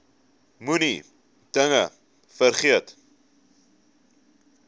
moenie dinge vergeet